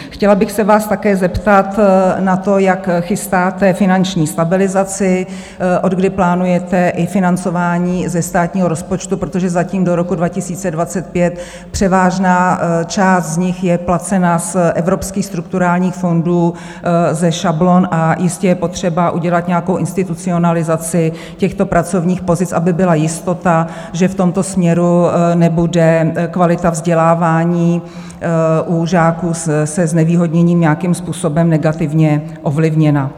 Chtěla bych se vás také zeptat na to, jak chystáte finanční stabilizaci, odkdy plánujete i financování ze státního rozpočtu, protože zatím do roku 2025 převážná část z nich je placena z evropských strukturálních fondů, ze šablon, a jistě je potřeba udělat nějakou institucionalizaci těchto pracovních pozic, aby byla jistota, že v tomto směru nebude kvalita vzdělávání u žáků se znevýhodněním nějakým způsobem negativně ovlivněna.